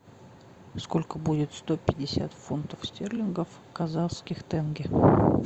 сколько будет сто пятьдесят фунтов стерлингов в казахских тенге